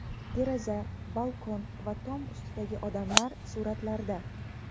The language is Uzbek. Deraza, balkon va tom ustidagi odamlar suratlarda.